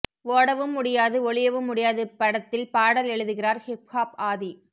ஓடவும் முடியாது ஒளியவும் முடியாது படத்தில் பாடல் எழுதுகிறார் ஹிப் ஹாப் ஆதி